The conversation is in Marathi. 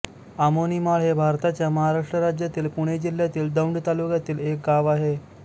आमोणीमाळ हे भारताच्या महाराष्ट्र राज्यातील पुणे जिल्ह्यातील दौंड तालुक्यातील एक गाव आहे